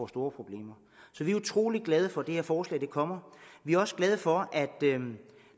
store problemer så vi er utrolig glade for at det her forslag er kommet vi er også glade for at